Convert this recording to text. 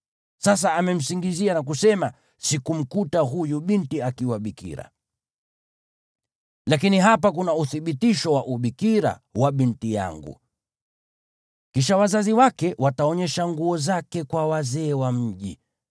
Sasa amemsingizia na kusema, ‘Sikumkuta huyu binti akiwa bikira.’ Lakini hapa kuna uthibitisho wa ubikira wa binti yangu.” Kisha wazazi wake wataonyesha nguo zake kwa wazee wa mji,